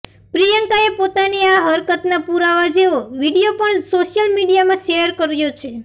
પ્રિયંકાએ પોતાની આ હરકતના પુરાવા જેવો વીડિયો પણ સોશિયલ મીડિયામાં શેયર કર્યો છે